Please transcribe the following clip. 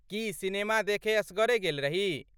की, cinema देखय एसगरे गेल रही?